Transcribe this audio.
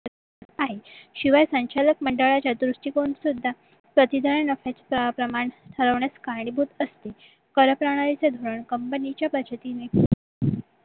आहे शिवाय संचालक मंडळच्या दृष्टिकोनातून सुद्धा प्रतिधरण नफ्याचे काय प्रमाण हरवण्यास कारणीभूत असते कर करणाऱ्यांचे धरण company च्या बचतीने